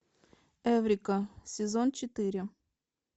эврика сезон четыре